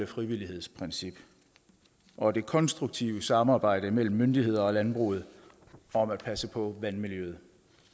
frivillighedsprincip og det konstruktive samarbejde mellem myndigheder og landbruget om at passe på vandmiljøet